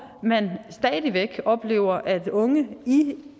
man stadig væk oplever at unge i